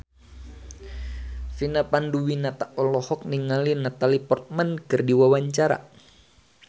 Vina Panduwinata olohok ningali Natalie Portman keur diwawancara